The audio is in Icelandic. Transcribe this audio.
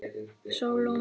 Sólon